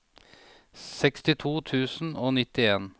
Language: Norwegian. sekstito tusen og nittien